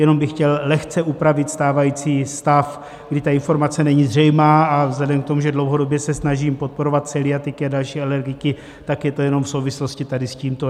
Jenom bych chtěl lehce upravit stávající stav, kdy ta informace není zřejmá, a vzhledem k tomu, že dlouhodobě se snažím podporovat celiatiky a další alergiky, tak je to jenom v souvislosti tady s tímto.